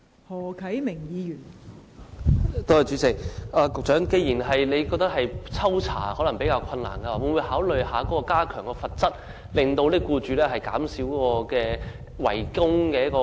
代理主席，既然局長認為抽查比較困難，會否考慮加強罰則，減少僱主違供的情況？